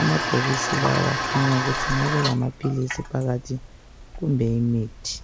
amabhokisi lawa akhanya ukuthi engabe elamaphilisi phakathi kumbe imithi.